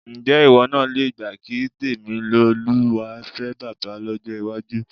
Ǹjé̩ ìwó̩ náà le gbà kí Tèmilolúwa fé̩ bábà ló̩jó̩ iwájú?